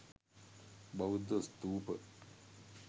බෞද්ධ ස්ථූප